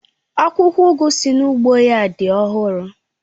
Akwụkwọ ugu si n'ugbo ya dị ọhụrụ